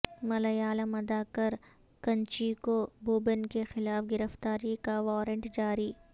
ملیالم اداکار کنچیکو بوبن کے خلاف گرفتاری کا وارنٹ جاری